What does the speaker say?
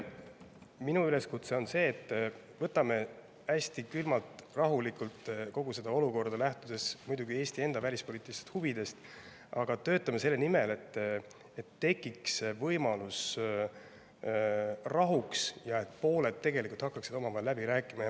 Minu üleskutse on see: võtame hästi külmalt, rahulikult kogu olukorda, lähtudes muidugi Eesti enda välispoliitilistest huvidest, aga töötame selle nimel, et tekiks võimalus rahuks ja et pooled hakkaksid omavahel läbi rääkima.